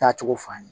Taa cogo f'an ye